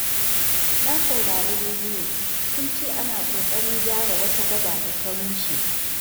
Na saurari rediyo, sun ce ana ƙoƙarin gyara wata gada da ta rushe.